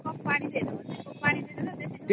କାମ ପାଣି ଦେଇ ଦବ ପାଣି ଦେଇଦେଲେ